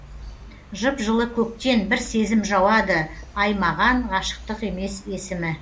жып жылы көктен бір сезім жауады аймаған ғашықтық емес есімі